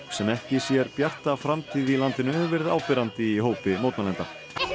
sem ekki sér bjarta framtíð í landinu hefur verið áberandi í hópi mótmælenda